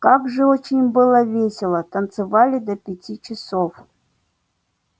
как же очень было весело танцевали до пяти часов